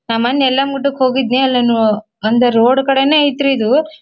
ಸಾಮಾನ್ಯ ಎಲ್ಲ ಮಠಕ್ಕೆ ಹೋಗಿದ್ದೆ ಎಲ್ಲ ರೋಡ್ ಕಡೆನೇ ಅಯ್ತುರಿ ಇದು.